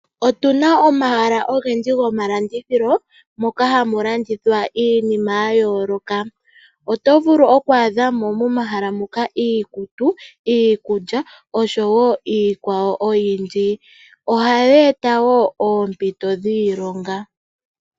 Otuna omahala ogendji gomalandithilo moka hamu landithwa iinima yayooloka, otovulu okwaadhamo momahala ngaka iikutu, iikulya niikwawo oyindji. Omahala gomalandithilo oha geeta woo oompito dhiilonga.